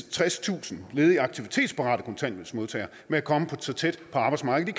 tredstusind ledige aktivitetsparate kontanthjælpsmodtagere med at komme så tæt på arbejdsmarkedet